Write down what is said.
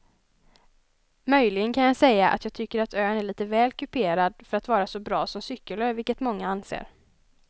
Möjligen kan jag säga att jag tycker att ön är lite väl kuperad för att vara så bra som cykelö vilket många anser.